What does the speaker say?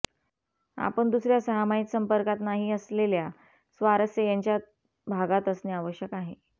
आपण दुसऱ्या सहामाहीत संपर्कात नाही असलेल्या स्वारस्य त्यांच्या भागात असणे आवश्यक आहे